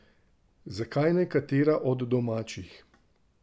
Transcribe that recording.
Zakaj ne katera od domačih?